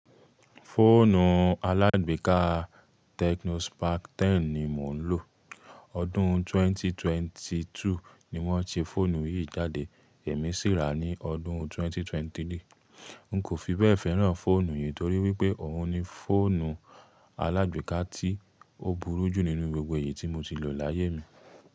Fóònù alàgbèéká Tecno Spark 10 ni mò ń lò. Ọdún 2022 ni wọ́n ṣe fóònù yìí jáde, èmi sì rà á ní ọdún 2023. N kò fi bẹ́ẹ̀ fẹ́ràn fóònù yìí torí wípé òun ni fóònù alàgbèéká tí ó burú jù nínú gbogbo èyí tí mo ti lò láyé mi.